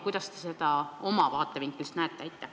Kuidas te seda oma vaatevinklist näete?